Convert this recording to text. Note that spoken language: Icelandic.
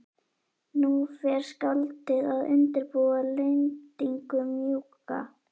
Nú fer skáldið að undirbúa lendingu- mjúka.